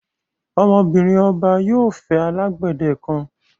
Ọmọ-binrin ọbà yóò fẹ́ alágbedẹ̀ kan.